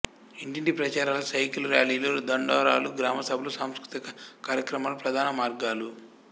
ఇంటింటి ప్రచారాలు సైకిలు ర్యాలీలు దండోరాలు గ్రామసభలు సాంస్కృతిక కార్యక్రమాలు ప్రధాన మార్గాలు